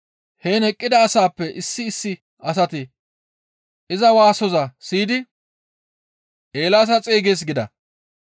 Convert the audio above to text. Heen eqqida asaappe issi issi asati iza waasoza siyidi, «Eelaasa xeygees» gida.